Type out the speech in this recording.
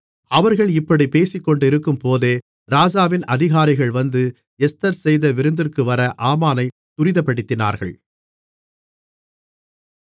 அவர்கள் இப்படிப் பேசிக்கொண்டிருக்கும்போதே ராஜாவின் அதிகாரிகள் வந்து எஸ்தர் செய்த விருந்திற்கு வர ஆமானைத் துரிதப்படுத்தினார்கள்